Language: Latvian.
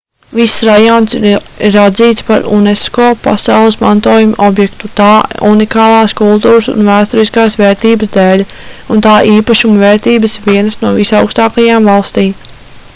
viss rajons ir atzīts par unesco pasaules mantojuma objektu tā unikālās kultūras un vēsturiskās vērtības dēļ un tā īpašuma vērtības ir vienas no visaugstākajām valstī